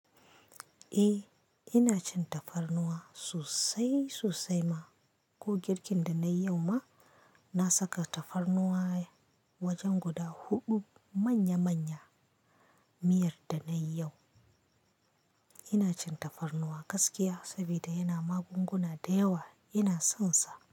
Eh ina cin tafarnuwa sosai sosai ma. Ko girkin da nayi yau ma, na saka tafarnuwa wajen guda huɗu. Manya-manya miyar da nayi yau. Ina cin tafarnuwa gaskiya sabida yana magunguna da yawa. Ina sonsa.